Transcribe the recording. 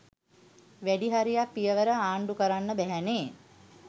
වැඩි හරියක් පියවර අන්ඩූකරන්න බැහැනෙ.